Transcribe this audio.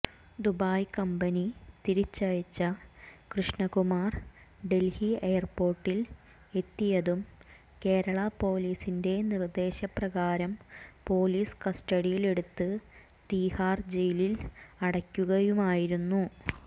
Dubai company തിരിച്ചയച്ച കൃഷ്ണകുമാർ ഡൽഹി എയർപോർട്ടിൽ എത്തിയതും കേരള പൊലീസിന്റെ നിർദ്ദേശപ്രകാരം പൊലീസ് കസ്റ്റഡിയിലെടുത്ത് തീഹാർ ജയിലിൽ അടയ്ക്കുകയുമായിരുന്നു